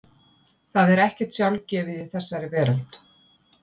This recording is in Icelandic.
Það er ekkert sjálfgefið í þessari veröld.